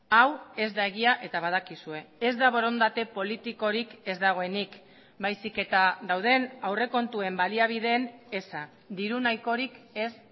hau ez da egia eta badakizue ez da borondate politikorik ez dagoenik baizik eta dauden aurrekontuen baliabideen eza diru nahikorik ez